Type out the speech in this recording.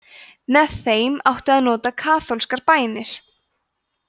með þeim átti að nota kaþólskar bænir